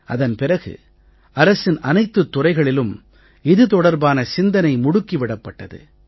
அதன் பிறகு அரசின் அனைத்துத் துறைகளிலும் இது தொடர்பான சிந்தனை முடுக்கி விடப்பட்டது